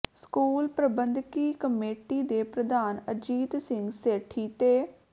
school ਪ੍ਰਬੰਧਕੀ committee ਦੇ ਪ੍ਰਧਾਨ ਅਜੀਤ ਸਿੰਘ ਸੇਠੀ ਤੇ